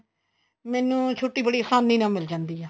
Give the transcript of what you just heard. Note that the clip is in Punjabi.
ਮੈਨੂੰ ਛੁੱਟੀ ਬੜੀ ਆਸਾਨੀ ਨਾਲ ਮਿਲ ਜਾਂਦੀ ਏ